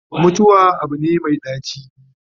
mutuwa Abu ne Mai ɗaci